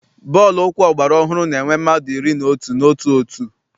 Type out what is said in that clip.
Bọọlụ ụkwụ ọgbara ọhụrụ na-enwe mmadụ iri na otu n'otu òtù.